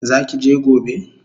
Zaki je gobe?